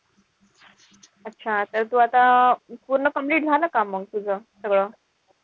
अच्छा तर तू आता पूर्ण complete झालं का मग तुझं सगळं?